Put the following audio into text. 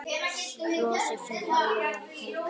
Flosi hjó höfuðið af Helga.